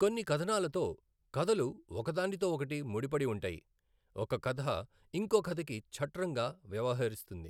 కొన్నికథనాలతో, కథలు ఒకదానితో ఓకటి ముడి పడి ఉంటాయి, ఒక కథ ఇంకో కథకి ఛట్రంగా వ్యవహరిస్తుంది.